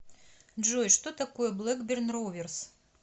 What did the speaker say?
джой что такое блэкберн роверс